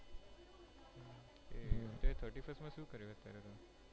તે thirty first માં શું કર્યું અત્યારે તમે,